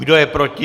Kdo je proti?